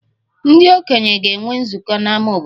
Ndị okenye ga-enwe nzukọ n'ámá obodo